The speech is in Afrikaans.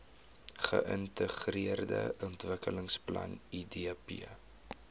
geintegreerde ontwikkelingsplan idp